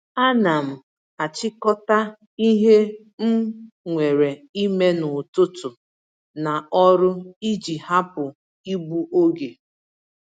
Ánám achikota ihe m nwèrè ime n'ụtụtụ na ọrụ iji hapụ igbu oge